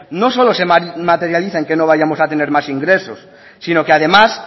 no solo se materializa en que no vayamos a tener más ingresos sino que además